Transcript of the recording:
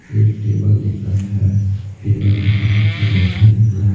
एक टेबल दिख रहा है टेबल पे सब बच्चा बैठा दिख रहा है।